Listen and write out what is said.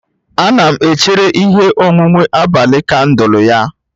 Ana m echere ihe onwunwe abalị kandụl ya